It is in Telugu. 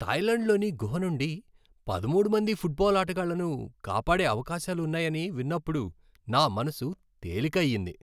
థాయ్లాండ్లోని గుహ నుండి పదమూడు మంది ఫుట్బాల్ ఆటగాళ్లను కాపాడే అవకాశాలు ఉన్నాయని విన్నప్పుడు నా మనసు తేలిక అయ్యింది.